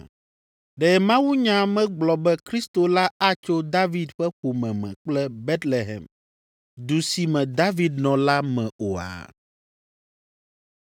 Ɖe mawunya megblɔ be Kristo la atso David ƒe ƒome me kple Betlehem, du si me David nɔ la me oa?”